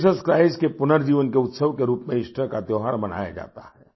Jesus Christ के पुनर्जीवन के उत्सव के रूप में ईस्टर का त्योहार मनाया जाता है